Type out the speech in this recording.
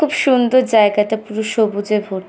খুব সুন্দর জায়গাটা। পুরো সবুজে ভ --